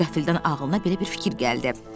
Qəfildən ağlına belə bir fikir gəldi.